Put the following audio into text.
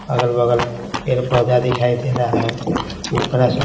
अगल-बगल पेड़-पौधा दिखाई दे रहा है ऊपर --